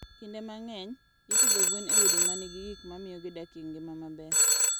Kinde mang'eny, ipidho gwen e udi ma nigi gik ma miyo gidak e ngima maber.